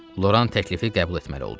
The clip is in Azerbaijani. Loran təklifi qəbul etməli oldu.